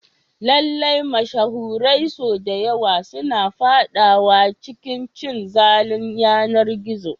Lallai, mashahurai sau da yawa suna fadawa cikin cin zalin yanar gizo.